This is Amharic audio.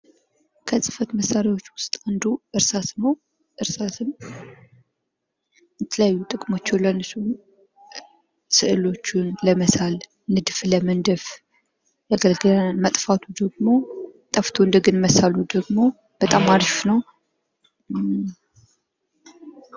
ከጽሕፈት መሳሪያዎች ውስጥ አንዱ እርሳስ ነው። እርሳስን ለተለያዩ ጥቅሞች ይውላል፦ ስእሎችን ለመሳል፥ ንድፍ ለመንደፍ ያገለግለናል። መጥፋቱ ደግሞ ጠፍቶ እንደገና መሳሉ ደግሞ በጣም አሪፍ ነው።